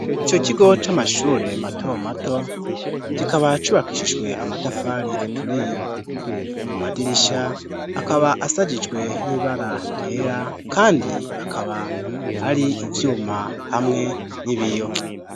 Ico kigo c'amashure mato mato, kikaba cubakishijwe amatafari aturiye, amadirisha akaba ashajijwe n'ibara ryera, kandi akaba ari ivyuma hamwe n'ibiyo.